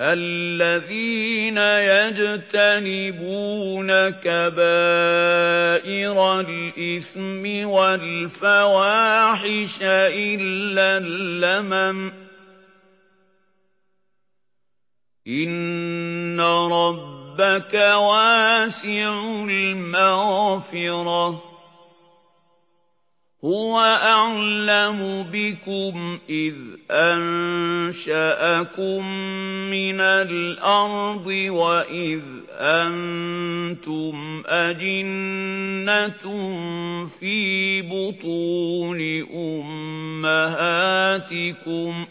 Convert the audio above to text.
الَّذِينَ يَجْتَنِبُونَ كَبَائِرَ الْإِثْمِ وَالْفَوَاحِشَ إِلَّا اللَّمَمَ ۚ إِنَّ رَبَّكَ وَاسِعُ الْمَغْفِرَةِ ۚ هُوَ أَعْلَمُ بِكُمْ إِذْ أَنشَأَكُم مِّنَ الْأَرْضِ وَإِذْ أَنتُمْ أَجِنَّةٌ فِي بُطُونِ أُمَّهَاتِكُمْ ۖ